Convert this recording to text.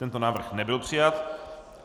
Tento návrh nebyl přijat.